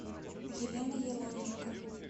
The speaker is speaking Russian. елена еловенко